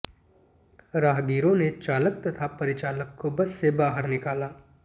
राहगीरों ने चालक तथा परिचालक को बस से बाहर निकाला